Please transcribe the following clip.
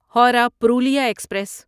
Howrah Purulia express